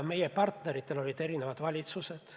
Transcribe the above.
Meie partneritel on olnud erinevad valitsused.